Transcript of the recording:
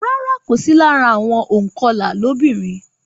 Rárá, kò sì lára àwọn ònkọlà lóbìnrin.